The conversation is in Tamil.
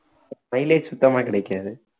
mileage சுத்தமா கிடைக்காது